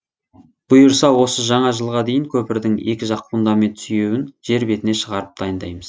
бұйырса осы жаңа жылға дейін көпірдің екі жақ фундамент сүйеуін жер бетіне шығарып дайындаймыз